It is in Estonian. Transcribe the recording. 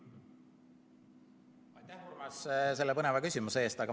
Aitäh, Urmas, selle põneva küsimuse eest!